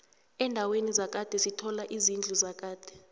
endaweni zakhade sithola izidlu zakade